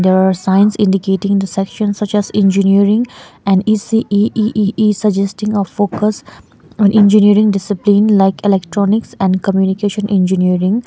there are signs indicating the section such as engineering and E_C_E E_E_E suggesting a focus on engineering discipline like electronics and communication engineering.